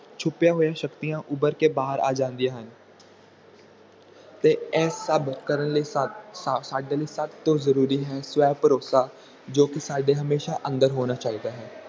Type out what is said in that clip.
ਛੁਪੀਆਂ ਹੋਇਆਂ ਸ਼ਕਤੀਆਂ ਉਭਰ ਕੇ ਆ ਜਾਂਦੀਆਂ ਹਨ ਅਤੇ ਇਹ ਸਭ ਕਰਨ ਲਈ ਸਾਡੇ ਲਈ ਸਭ ਤੋਂ ਜਰੂਰੀ ਹੈ ਸਵੈ ਭਰੋਸਾ ਜੋ ਕਿ ਸਾਡੇ ਹਮੇਸ਼ਾ ਅੰਦਰ ਹੋਣਾ ਚਾਹੀਦਾ ਹੈ